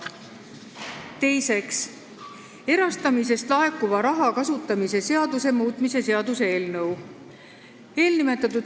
Teiseks, erastamisest laekuva raha kasutamise seaduse muutmise seaduse eelnõu.